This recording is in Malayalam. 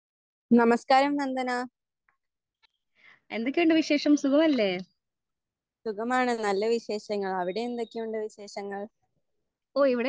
നമസ്കാരം നന്ദന സുഖമാണ് നല്ലവിശേഷങ്ങൾ അവിടെ എന്തൊക്കെയുണ്ട് വിശേഷങ്ങൾ